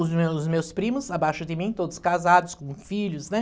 Os meus os meus primos, abaixo de mim, todos casados, com filhos, né?